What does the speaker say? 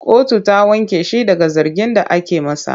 Kotu ta wanke shi daga zargin da ake masa.